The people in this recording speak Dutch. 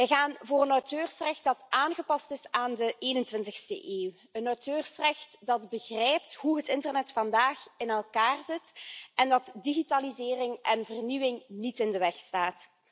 Wij gaan voor een auteursrecht dat aangepast is aan de 21e eeuw, een auteursrecht dat begrijpt hoe het internet vandaag in elkaar zit en dat digitalisering en vernieuwing niet in de weg staat.